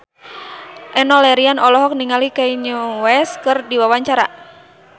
Enno Lerian olohok ningali Kanye West keur diwawancara